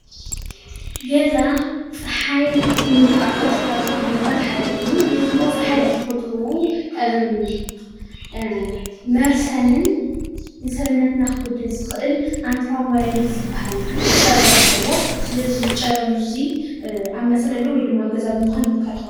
ገዛ ፀሓይ ከይንዉቃዕ ካብ ዝከላከሉ ነገራት ሓደ እዩ ፀሓይ ብተፈጥርኡ መርሰንን ንሰዉነትና ክጎድእ ዝክእል ኣልትራቫየለት ጨረር ኣለዎ ስለዚ ዝጨረር እዚ ኣብ መፅለሊ ወይ ድማ ኣብ ገዛ ብምኳን ንከላከሎ ።